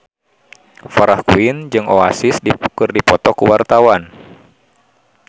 Farah Quinn jeung Oasis keur dipoto ku wartawan